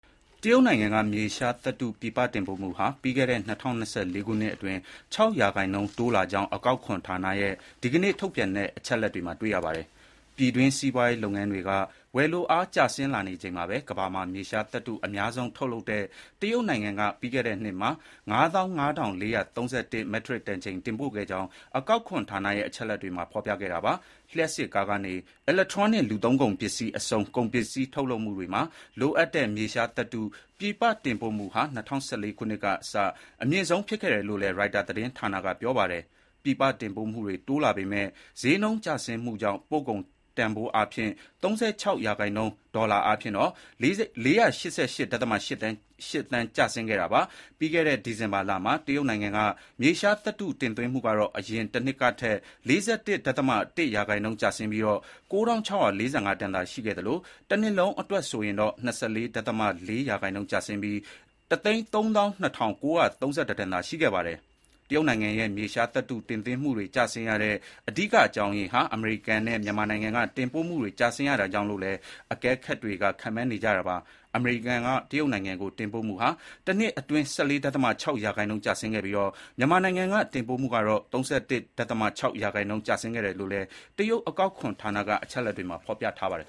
တရုတ်နိုင်ငံက မြေရှားသတ္တု ပြည်ပတင်ပို့မှုဟာ ပြီးခဲ့တဲ့ ၂၀၂၄ ခုနှစ်အတွင်း ၆ ရာခိုင်နှုန်း တိုးလာကြောင်း အကောက်ခွန်ဌာနရဲ့ ဒီကနေ့ ထုတ်ပြန်တဲ့ အချက်အလက်တွေမှာ တွေ့ရပါတယ်။ ပြည်တွင်း စီးပွားရေးလုပ်ငန်းတွေက ဝယ်လိုအား ကျဆင်းလာနေချိန်မှာပဲ ကမ္ဘာမှာ မြေရှားသတ္ထု အများဆုံး ထုတ်လုပ်တဲ့ တရုတ်နိုင်ငံက ပြီးခဲ့တဲ့နှစ်မှာ ၅၅,၄၃၁ မက်ထရစ်တန်ချိန် တင်ပို့ခဲ့ကြောင်း အကောက်ခွန်ဌာနရဲ့ အချက်အလက်တွေမှာ ဖော်ပြခဲ့တာပါ။ လျှပ်စစ်ကားကနေ အီလက်ထရောနစ် လူသုံးပစ္စည်းအဆုံး ကုန်ပစ္စည်းထုတ်လုပ်မှုတွေမှာ လိုအပ်တဲ့ မြေရှားသတ္ထု ပြည်ပ တင်ပို့မှုဟာ ၂၀၁၄ ခုနှစ်ကစ အမြင့်ဆုံးဖြစ်တယ်လို့လည်း Reuters သတင်းဌာနက ပြောပါတယ်။ ပြည်ပတင်ပို့မှုတွေ တိုးလာပေမဲ့ ဈေးနှုန်းကျဆင်းမှုကြောင့် ပို့ကုန်တန်ဘိုးအားဖြင့် ၃၆ ရာခိုင်နှုန်း ဒေါ်လာ ၄၈၈.၈ သန်း ကျဆင်းခဲ့တာပါ။ ပြီးခဲ့တဲ့ ဒီဇင်ဘာလမှာ တရုတ်နိုင်ငံက မြေရှားသတ္တု တင်သွင်းမှုကတော့ အရင်တနှစ်ကထက် ၄၁.၁ ရာခိုင်နှုန်း ကျဆင်းပြီး ၉,၆၄၅ တန်သာ ရှိခဲ့သလို တနှစ်လုံးအတွက် ဆိုရင်တော့ ၂၄.၄ ရာခိုင်နှုန်း ကျဆင်းပြီး ၁၃၂,၉၃၁ တန်သာ ရှိခဲ့ပါတယ်။ တရုတ်နိုင်ငံရဲ့ မြေရှားသတ္ထု တင်သွင်းမှုတွေ ကျဆင်းရတဲ့ အဓိက အကြောင်းရင်းဟာ အမေရိကန်နဲ့ မြန်မာနိုင်ငံက တင်ပို့မှုတွေ ကျဆင်းရတာကြောင့်လို့လည်း အကဲခတ်တွေက ခန့်မှန်းနေကြတာပါ။ အမေရိကန်က တရုတ်နိုင်ငံကို တင်ပို့မှုဟာ တနှစ်အတွင်း ၁၄.၆ ရာခိုင်နှုန်း ကျဆင်းခဲ့ပြီး မြန်မာနိုင်ငံက တင်ပို့မှုကတော့ ၃၁.၆ ရာခိုင်နှုန်း ကျဆင်းခဲ့တယ်လို့လည်း တရုတ်အကောက်ခွန်ဌာန အချက်အလက်တွေမှာ ဖော်ပြထားပါတယ်